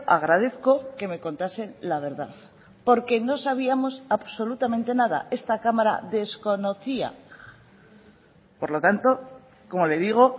agradezco que me contasen la verdad porque no sabíamos absolutamente nada esta cámara desconocía por lo tanto como le digo